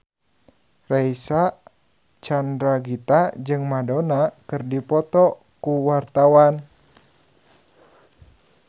Reysa Chandragitta jeung Madonna keur dipoto ku wartawan